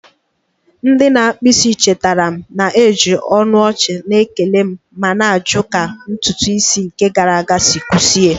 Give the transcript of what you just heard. Ndị na-akpụ isi chetara m, na-eji ọnụ ọchị na-ekele m ma na-ajụ ka ntutu isi nke gara aga si kwụsie